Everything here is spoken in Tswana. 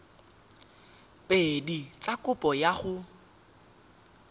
pedi tsa kopo ya go